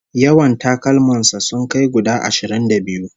Yawan takalman sa sun kai guda ashirin da biyu